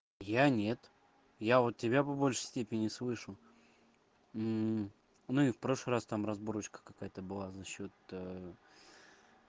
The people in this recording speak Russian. я нет я вот тебя по-большей степени слышу ну и в прошлый раз там разборка какая-то была за счёт